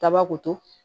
Daba ko to